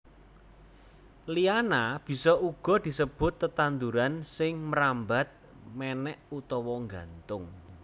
Liana bisa uga disebut tetanduran sing mrambat mènèk utawa nggantung